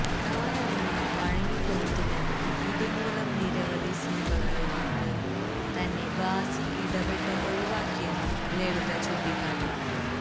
താനതിന് വഴങ്ങിക്കൊടുത്തില്ലെന്നും ഇതുമൂലം നിരവധി സിനിമകളില് നിന്ന് തന്നെ ഭാസി ഇടപെട്ട് ഒഴിവാക്കിയെന്നും ലളിത ചൂണ്ടിക്കാട്ടി